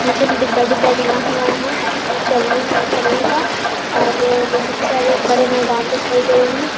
नीचे मे डब्बा-डब्बा बना हुआ है चलने-चलने का और बहुत सारे बड़े मैदान दिखाई दे रहे है।